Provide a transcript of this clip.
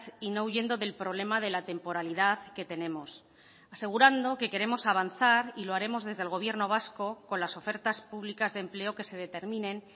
y no huyendo del problema de la temporalidad que tenemos asegurando que queremos avanzar y lo haremos desde el gobierno vasco con las ofertas públicas de empleo que se determinen